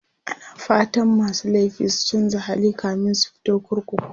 ana fatan masu laifi su chanza hali kamin su fito kurkuku